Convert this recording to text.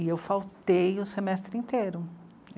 E eu faltei o semestre inteiro.